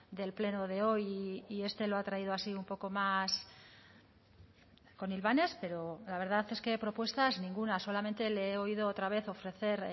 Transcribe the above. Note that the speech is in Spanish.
del pleno de hoy y este lo ha traído así un poco más con hilvanes pero la verdad es que propuestas ninguna solamente le he oído otra vez ofrecer